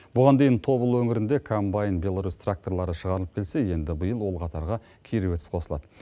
бұған дейін тобыл өңірінде комбайн беларус тракторлары шығарылып келсе енді биыл ол қатарға кировец қосылады